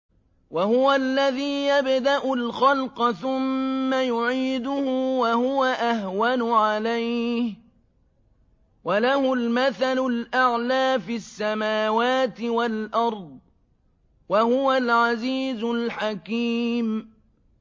وَهُوَ الَّذِي يَبْدَأُ الْخَلْقَ ثُمَّ يُعِيدُهُ وَهُوَ أَهْوَنُ عَلَيْهِ ۚ وَلَهُ الْمَثَلُ الْأَعْلَىٰ فِي السَّمَاوَاتِ وَالْأَرْضِ ۚ وَهُوَ الْعَزِيزُ الْحَكِيمُ